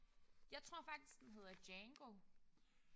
Jeg tror faktisk den hedder Django